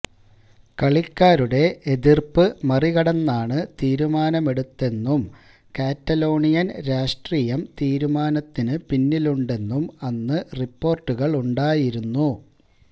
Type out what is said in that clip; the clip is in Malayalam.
കളിക്കാരുടെ എതിര്പ്പ് മറികടന്നാണ് തീരുമാനമെടുത്തതെന്നും കാറ്റലോണിയന് രാഷ്ട്രീയം തീരുമാനത്തിന് പിന്നിലുണ്ടെന്നും അന്ന് റിപ്പോര്ട്ടുകളുണ്ടായിരുന്നു